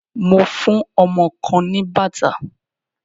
Mo fún ọmọ kan ní bàtà.